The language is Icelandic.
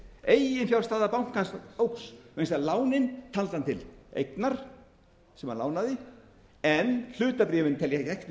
eiginfjárstaða bankans óx vegna þess að lánin taldi hann til eignar sem hann lánaði en hlutabréfin teljast ekki til